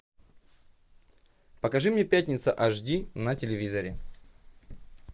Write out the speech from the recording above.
покажи мне пятница аш ди на телевизоре